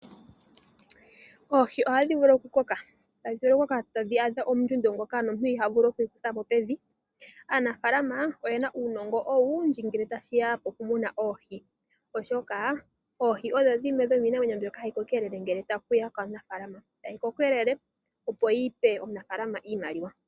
Oohi ohadhi vulu okukaka, tadhi vulu okukoka tadhi adha ondjundo ndjoka nomuntu iha vulu okuyi kutha po pevi. Aanafaalama oye na uunongo owundji ngele tashi ya pokumuna oohi, oshoka oohi odho dhimwe dhomiinamwenyo mbyoka hayi kokelele ngele tashi ya kaanafaalama. Tayi kokelele, opo yi pe omunafaalama iimaliwa.